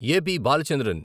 AP. Balachandran